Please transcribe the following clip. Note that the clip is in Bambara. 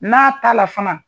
N'a t'a la fana.